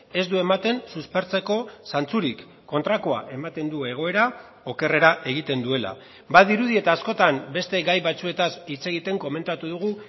ez du ematen suspertzeko zantzurik kontrakoa ematen du egoera okerrera egiten duela badirudi eta askotan beste gai batzuetaz hitz egiten komentatu dugu